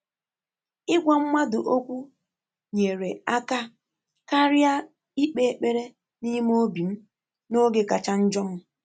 Ị́gwá mmàdụ̀ ókwú nyèrè áká kàrị́à íkpé ékpèré n’ímé óbí m n’ógè kàchà njọ́ m.